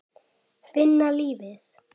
Finna lífið.